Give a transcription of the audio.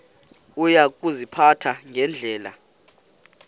uya kuziphatha ngendlela